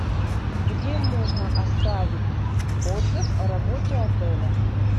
где можно оставить отзыв о работе отеля